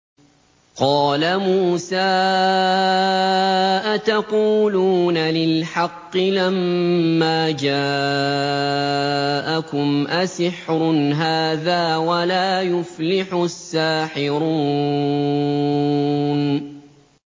قَالَ مُوسَىٰ أَتَقُولُونَ لِلْحَقِّ لَمَّا جَاءَكُمْ ۖ أَسِحْرٌ هَٰذَا وَلَا يُفْلِحُ السَّاحِرُونَ